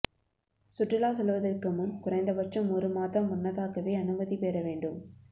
சுற்றுலா செல்வதற்கு முன் குறைந்தபட்சம் ஒரு மாதம் முன்னதாகவே அனுமதி பெற வேண்டும்